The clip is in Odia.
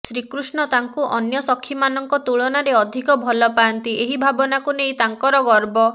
ଶ୍ରୀକୃଷ୍ଣ ତାଙ୍କୁ ଅନ୍ୟ ସଖୀମାନଙ୍କ ତୁଳନାରେ ଅଧିକ ଭଲପାଆନ୍ତି ଏହି ଭାବନାକୁ ନେଇ ତାଙ୍କର ଗର୍ବ